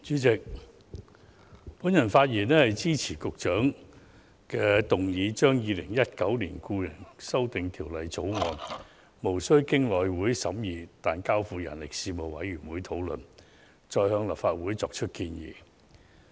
主席，我發言支持局長動議的議案，即《2019年僱傭條例草案》無須經內務委員會審議，但交付人力事務委員會討論，再向立法會作出建議。